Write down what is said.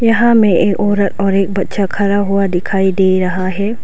यहां में एक औरत और एक बच्चा खड़ा हुआ दिखाई दे रहा है।